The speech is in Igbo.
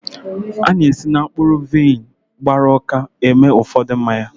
A na-esi na mkpụrụ vaịn gbara ụka eme ụfọdụ mmanya.